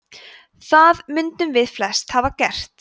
það mundum við flest hafa gert